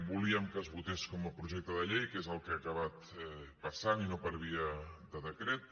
volíem que es votés com a projecte de llei que és el que ha acabat passant i no per via de decret